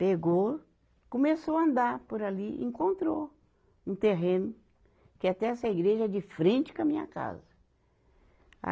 Pegou, começou a andar por ali, encontrou um terreno, que até essa igreja é de frente com a minha casa. a